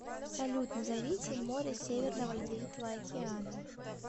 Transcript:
салют назовите море северного ледовитого океана